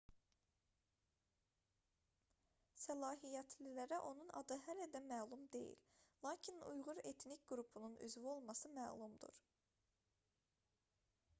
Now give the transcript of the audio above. səlahiyyətlilərə onun adı hələ də məlum deyil lakin uyğur etnik qrupunun üzvü olması məlumdur